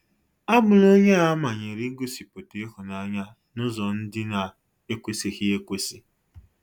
Abụla onye a manyere ịgosịpụta ịhụnanya n’ụzọ ndị na - ekwesịghị ekwesị